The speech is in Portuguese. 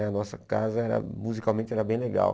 Né a nossa casa, era musicalmente, era bem legal.